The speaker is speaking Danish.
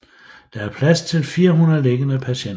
Der er plads til 400 liggende patienter